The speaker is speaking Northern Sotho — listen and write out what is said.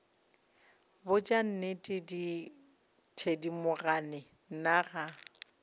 botša nnete thedimogane nna ga